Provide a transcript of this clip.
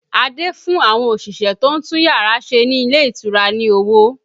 Adé fún àwọn òṣìṣẹ́ tó ń tún yàrá ṣe ní ilé ìtura ní owó